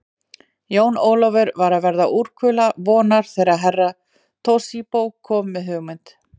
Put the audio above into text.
Jón Ólafur var að verða úrkula vonar þegar Herra Toshizo kom með hugmynd.